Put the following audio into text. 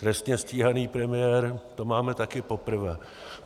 Trestně stíhaný premiér, to máme taky poprvé.